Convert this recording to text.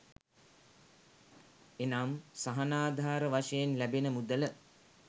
එනම් සහනාධාර වශයෙන් ලැබෙන මුදල